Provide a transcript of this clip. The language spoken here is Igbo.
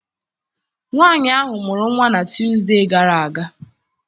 Nwaanyị ahụ mụrụ nwa na Tuusdee gara aga.